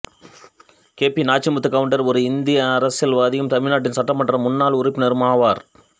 K P Nachimuthu Gounder ஒரு இந்திய அரசியல்வாதியும் தமிழ்நாட்டின் சட்டமன்ற முன்னாள் உறுப்பினரும் ஆவார்